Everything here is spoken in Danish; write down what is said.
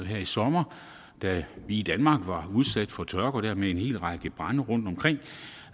her i sommer da vi i danmark var udsat for tørke og dermed en lang række brande rundtomkring